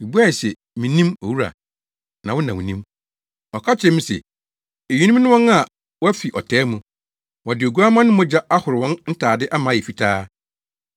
Mibuae se, “Minnim, owura. Na wo na wunim.” Ɔka kyerɛɛ me se, “Eyinom ne wɔn a wɔafi ɔtaa mu. Wɔde Oguamma no mogya ahoro wɔn ntade ama ayɛ fitaa.